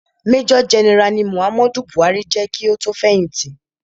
Major general ni Muhammadu Buhari je ki o tó fẹ̀hìtì.